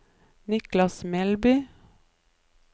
Niklas Melby